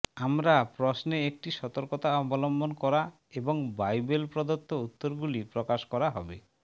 আমরা প্রশ্নে একটি সতর্কতা অবলম্বন করা এবং বাইবেল প্রদত্ত উত্তরগুলি প্রকাশ করা হবে